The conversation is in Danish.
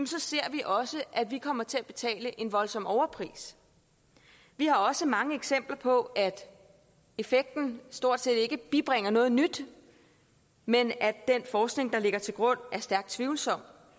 så ser vi også at vi kommer til at betale en voldsom overpris vi har også mange eksempler på at effekten stort set ikke bibringer noget nyt men at den forskning der ligger til grund er stærkt tvivlsom